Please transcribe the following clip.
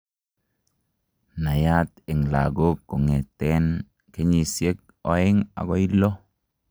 Naiyaat eng' lagok kong'eteten kenyisiek oeng' akoi loo